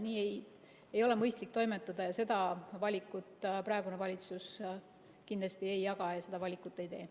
Nii ei ole mõistlik toimetada, seda arvamust praegune valitsus kindlasti ei jaga ja seda valikut ei tee.